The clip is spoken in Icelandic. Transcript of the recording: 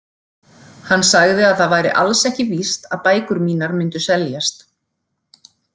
Hann sagði að það væri alls ekki víst að bækur mínar myndu seljast.